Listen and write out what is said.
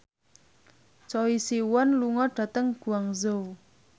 Choi Siwon lunga dhateng Guangzhou